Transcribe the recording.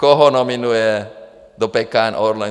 Koho nominuje do PKN Orlen?